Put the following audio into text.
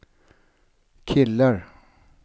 killar